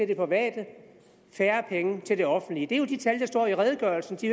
det private færre penge til det offentlige det er jo de tal der står i redegørelsen de